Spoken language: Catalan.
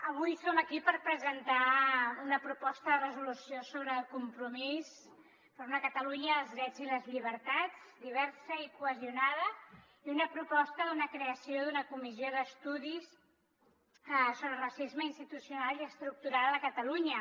avui som aquí per presentar una proposta de resolució sobre el compromís per una catalunya dels drets i les llibertats diversa i cohesionada i una proposta d’una creació d’una comissió d’estudi sobre el racisme institucional i estructural a catalunya